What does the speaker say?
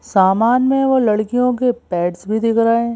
सामान में वो लड़कियों के पैड्स भी दिख रहे हैं।